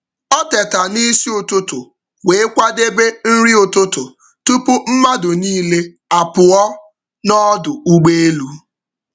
Ọ teta n’isi ụtụtụ wee kwadebe nri ụtụtụ tupu mmadụ niile apụọ n’ọdụ ụgbọ elu.